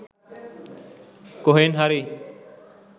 කොහෙන් හරි